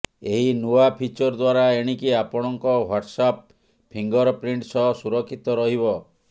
ଏହି ନୂଆ ଫିଚର ଦ୍ୱାରା ଏଣିକି ଆପଣଙ୍କ ହ୍ୱାଟ୍ସଆପ ଫିଙ୍ଗରପ୍ରିଣ୍ଟ ସହ ସୁରକ୍ଷିତ ରହିବ